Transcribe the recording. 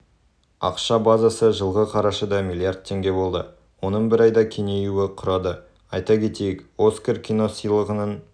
ақша базасы жылғы қарашада млрд теңге болды оның бір айда кеңеюі құрады айта кетейік оскар киносыйлығының